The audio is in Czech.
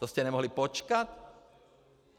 To jste nemohli počkat?